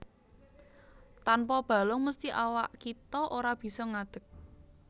Tanpa balung mesthi awak kita ora bisa ngadeg